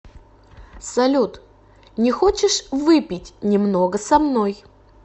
салют не хочешь выпить немного со мной